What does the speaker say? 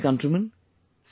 My dear countrymen,